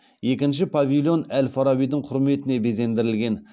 екінші павильон әл фарабидің құрметіне безендірілген